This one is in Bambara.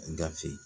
Gafe